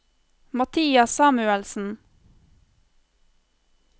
Mathias Samuelsen